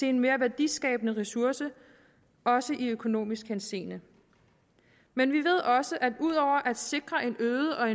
en mere værdiskabende ressource også i økonomisk henseende men vi ved også at ud over at sikre en øget og